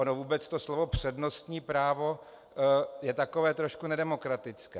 Ono vůbec to slovo "přednostní právo" je takové trošku nedemokratické.